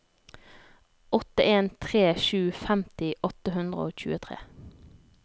åtte en tre sju femti åtte hundre og tjuetre